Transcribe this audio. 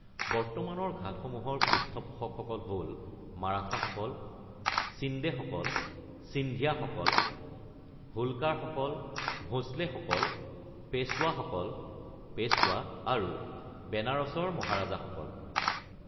বৰ্তমানৰ ঘাটসমূহৰ পৃষ্ঠপোষকসকল হ’ল মাৰাঠাসকল, সিন্দেসকল (সিন্ধিয়াসকল), হোলকাৰসকল, ভোঁসলেসকল, পেশ্বৱাসকল (পেশ্বৱা), আৰু বেনাৰসৰ মহাৰাজাসকল।